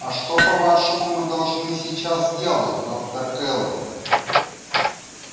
а что по-вашему мы должны сейчас делать доктор кэлвин